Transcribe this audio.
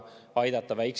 Aitäh, austatud juhataja!